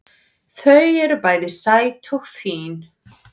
Þau eru bæði sæt og fín